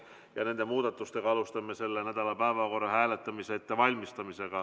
Alustame nende muudatustega päevakorra hääletamise ettevalmistamist.